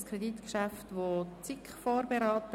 Das Kreditgeschäft wurde von der SiK vorberaten.